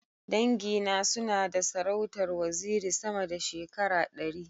Dangi na suna na da sarautar waziri sama da shekara ɗari.